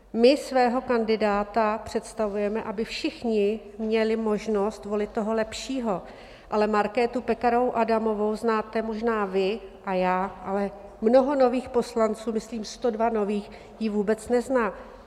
My svého kandidáta představujeme, aby všichni měli možnost volit toho lepšího, ale Markétu Pekarovou Adamovou znáte možná vy a já, ale mnoho nových poslanců, myslím 102 nových, ji vůbec nezná.